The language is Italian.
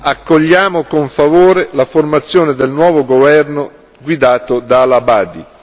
Accogliamo con favore la formazione del nuovo governo guidato da Al Abadi.